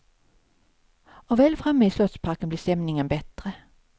Och väl framme i slottsparken blir stämningen bättre.